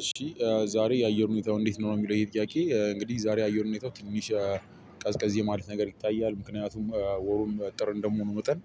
እሺ ዛሬ የአየር ሁኔታው እንዴት ነው? የሚለው ይሄ ጥያቄ እንግዲህ ዛሬ የአየር ሁኔታው ትንሽ ቀዝቀዜ ማለት ነገር ይታያል። ምክንያቱም ወሩን ጥር እንደመሆኑ መጠን